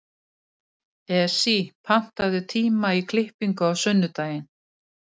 Esí, pantaðu tíma í klippingu á sunnudaginn.